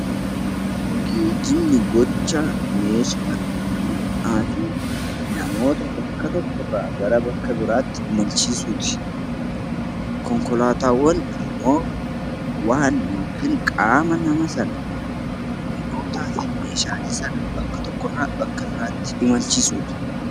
Geejjibni gocha meeshaa, mi'aa fi namoota bakka tokko irraa gara bakka biraatti imalchiisuu ti. Konkolaataawwan immoo waan (qaama) nama sana, mi'ootaa fi meeshaalee sana bakka tokko irraa bakka imalchiisuu dha.